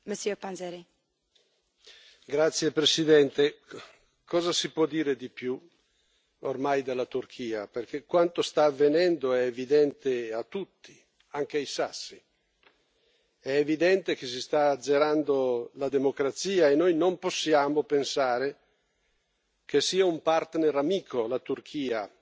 Signora Presidente, onorevoli colleghi, cosa si può dire di più, ormai, della Turchia, perché quanto sta avvenendo è evidente a tutti, anche ai sassi. È evidente che si sta azzerando la democrazia e noi non possiamo pensare che sia un partner amico, la Turchia,